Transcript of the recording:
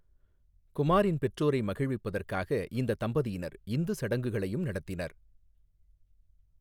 குமாரின் பெற்றோரை மகிழ்விப்பதற்காக இந்த தம்பதியினர் இந்து சடங்குகளையும் நடத்தினர்.